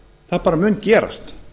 það bara mun gerast